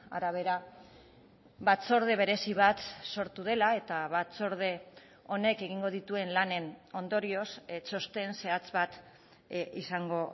arabera batzorde berezi bat sortu dela eta batzorde honek egingo dituen lanen ondorioz txosten zehatz bat izango